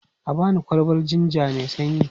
A ba ni kwalbar jinja mai sanyi.